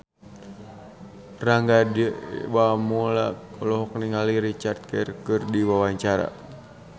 Rangga Dewamoela olohok ningali Richard Gere keur diwawancara